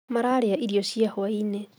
Mararĩa irio cia hwaĩinĩ